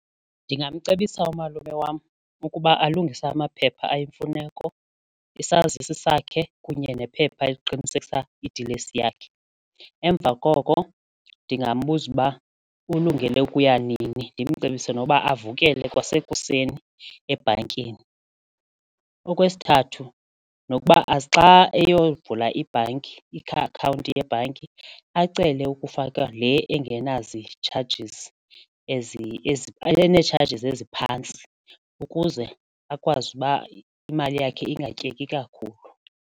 Ndingamcebisa umalume wam ukuba alungise amaphepha ayimfuneko isazisi sakhe kunye nephepha eliqinisekisa idilesi yakhe, emva koko ndingambuza uba ulungele ukuya nini ndimcebise noba avukele kwasekuseni ebhankini. Okwesithathu nokuba xa eyovula ibhanki iakhawunti yebhanki acele ukufakwa le engenazi-chargers ene-charges eziphantsi ukuze akwazi uba imali yakhe ingatyeki kakhulu.